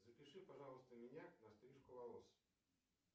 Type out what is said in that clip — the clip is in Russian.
запиши пожалуйста меня на стрижку волос